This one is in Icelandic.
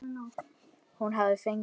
Hún hafði fengið